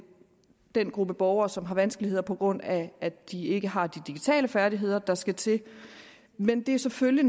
den gruppe borgere som har vanskeligheder på grund af at de ikke har de digitale færdigheder der skal til men det er selvfølgelig